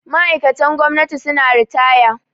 Ma'aikatan gwamnati suna ritaya